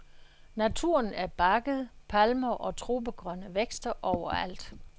Naturen er bakket, palmer og tropegrønne vækster overalt.